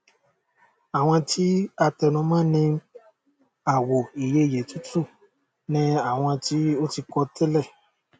àwọn tí a tẹnu mọ ní àwò ìyeyè tútù ni àwọn tí o ti kọ tẹlẹ